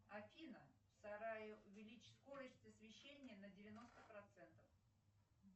афина в сарае увеличь скорость освещения на девяносто процентов